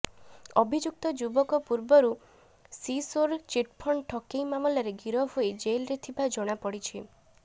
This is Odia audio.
ଅଭିଯୁକ୍ତ ଯୁବକ ପୂର୍ବରୁ ସିସୋର ଚିଟ୍ଫଣ୍ଡ ଠକେଇ ମାମଲାରେ ଗିରଫ ହୋଇ ଜେଲରେ ଥିବା ଜଣାପଡ଼ିଛି